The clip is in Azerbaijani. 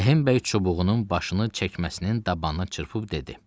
Rəhimbəy çubuğunun başını çəkməsinin dabanına çırpıb dedi.